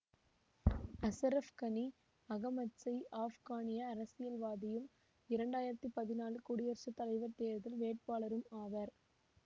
அசரஃப் கனி அகமத்சய் ஆப்கானிய அரசியல்வாதியும் இரண்டு ஆயிரத்தி பதினான்கு குடியரசு தலைவர் தேர்தல் வேட்பாளரும் ஆவார்